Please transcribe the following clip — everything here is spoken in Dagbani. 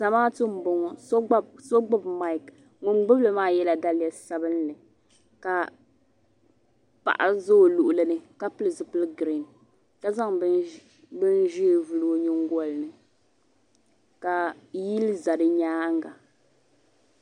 Zamaatu mboŋɔ so gbibi maaki ŋun gbibili maa yela daliya sabinli ka paɣa za o luɣuli ni ka pili zipi'girin ka zaŋ bini ʒee vili o nyingoli ni ka yili za di nyaanga.